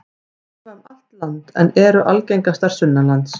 Þær lifa um allt land en eru algengastar sunnanlands.